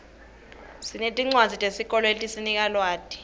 sinetincwadzi tesikolo letisinika lwati